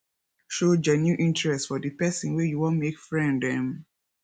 show genuine interest for di person wey you wan make friend um